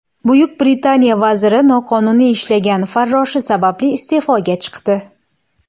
Buyuk Britaniya vaziri noqonuniy ishlagan farroshi sababli iste’foga chiqdi.